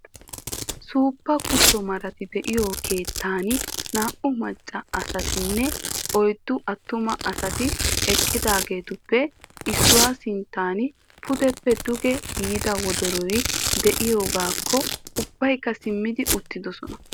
Suuppa kutto marati de"iyoo keettan naa"u macca asatinne oyddu attuma asati eqqidaagetuppe issuwa sinttan pudeppe duge yiida wodoroy de'iyoogaakko ubbaykka simmi uttidosona.